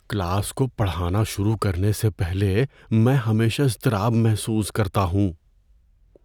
Class کو پڑھانا شروع کرنے سے پہلے میں ہمیشہ اضطراب محسوس کرتا ہوں۔